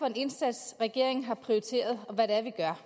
en indsats regeringen har prioriteret og hvad det er